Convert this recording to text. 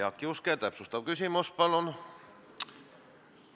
Jaak Juske täpsustav küsimus, palun!